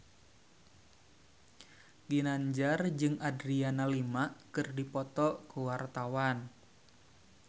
Ginanjar jeung Adriana Lima keur dipoto ku wartawan